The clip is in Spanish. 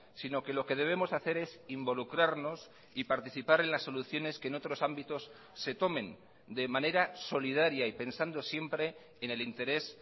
sino que lo que debemos hacer es involucrarnos y participar en las soluciones que en otros ámbitos se tomen de manera solidaria y pensando siempre en el interés